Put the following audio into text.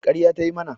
Ƙarya ta yi mana